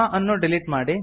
ಅನ್ನು ಡಿಲೀಟ್ ಮಾಡಿ